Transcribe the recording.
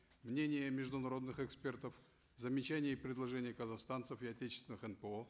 мнения международных экспертов замечания и предложения казахстанцев и отечественных нпо